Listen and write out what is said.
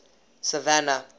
savannah